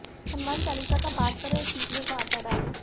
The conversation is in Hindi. हनुमान चालीसा का पाठ करें और चींटियों को आटा डालें